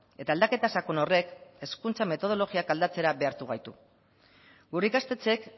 eta aldaketa sakon horrek hezkuntza metodologiak aldatzera behartu gaitu gure ikastetxeek